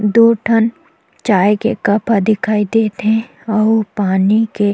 दो ठन चाय के कप ह दिखाई देत हे और पानी के--